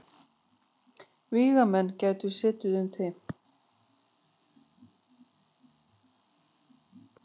Vígamenn gætu setið um þig.